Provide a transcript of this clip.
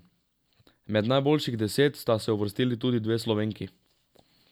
Med najboljših deset sta se uvrstili tudi dve Slovenki.